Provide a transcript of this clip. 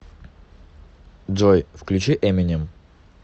джой включи эминем